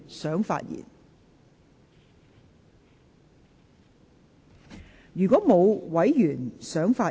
是否有委員想發言？